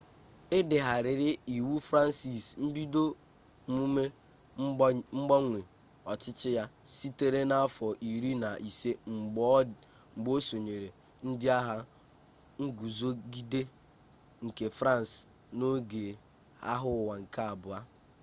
e degharịrị iwu fransị mbido mmume mgbanwe ọchịchị ya sitere n'afọ iri na ise mgbe o sonyere ndị agha nguzogide nke fransị n'oge agha ụwa nke abụọ